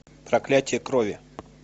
проклятие крови